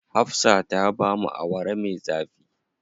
Hafsa ta bamu Awara me zafi.